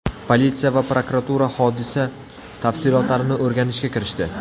Politsiya va prokuratura hodisa tafsilotlarini o‘rganishga kirishdi.